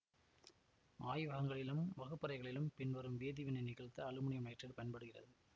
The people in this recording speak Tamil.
ஆய்வகங்களிலும் வகுப்பறைகளிலும் பின்வரும் வேதிவினை நிகழ்த்த அலுமினியம் நைட்ரேட்டு பயன்படுகிறது